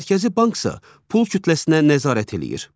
Mərkəzi Banksa pul kütləsinə nəzarət eləyir.